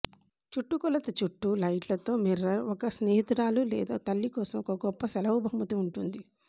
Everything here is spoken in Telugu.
చుట్టుకొలత చుట్టూ లైట్లు తో మిర్రర్ ఒక స్నేహితురాలు లేదా తల్లి కోసం ఒక గొప్ప సెలవు బహుమతి ఉంటుంది